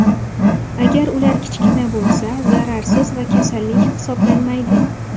Agar ular kichkina bo‘lsa, zararsiz va kasallik hisoblanmaydi.